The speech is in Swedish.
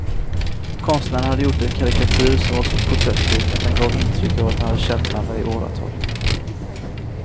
Konstnären hade gjort en karikatyr som var så porträttlik att den gav intryck av att de hade känt varandra i åratal.